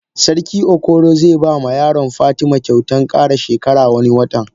Sarki okoro ze bama yaron fatima kyautan kara shekara wani watan.